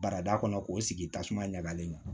Barada kɔnɔ k'o sigi tasuma ɲagamin